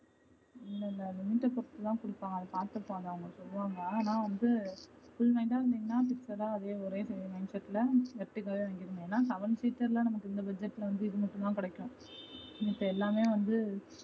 இல்ல இல்ல limit பொறுத்துதா கொடுப்பாங்க அது பத்துப்பாங்க அங்க சொல்லுவாங்க ஆனா வந்து full mind அ இருந்திங்கனா fixed அ ஒரே mindset ல seven seater ல நமக்கு இந்த budget ல வந்து நமக்கு இது மட்டும்தான் கிடைக்கும். மித்த எல்லாமே வந்து